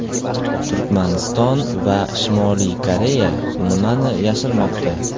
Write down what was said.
Turkmaniston va Shimoliy Koreya nimani yashirmoqda?.